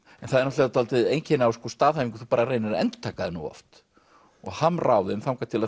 en það er náttúrulega dálítið einkenni á staðhæfingum að þú bara reynir að endurtaka þær nógu oft og hamra á þeim þangað til að